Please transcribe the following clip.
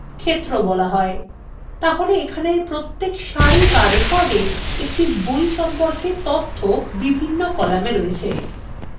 তাহলে এখানের প্রত্যেক সারি so recordএ একটি বই সম্পর্কে তথ্য বিভিন্ন কলামে রয়েছে